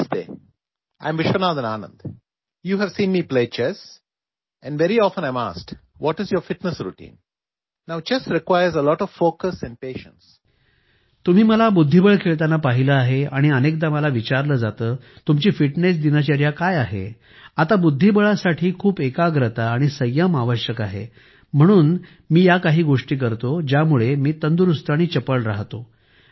नमस्ते मी विश्वनाथन आनंद आहे तुम्ही मला बुद्धिबळ खेळताना पाहिले आहे आणि अनेकदा मला विचारले जाते तुमची फिटनेस दिनचर्या काय आहे आता बुद्धिबळासाठी खूप एकाग्रता आणि संयम आवश्यक आहे म्हणून मी खालील गोष्टी करतो ज्यामुळे मी तंदुरुस्त आणि चपळ राहते